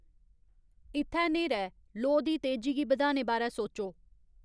इत्थै न्हेरा ऐ लोऽ दी तेजी गी बधाने बारै सोचो